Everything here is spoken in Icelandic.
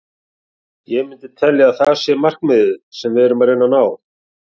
Ég myndi telja að það sé markmið sem við reynum að ná.